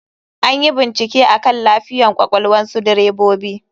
Anyi bincike akan lafiyan kwakwalnsu direbobi.